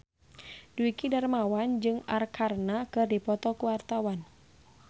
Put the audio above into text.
Dwiki Darmawan jeung Arkarna keur dipoto ku wartawan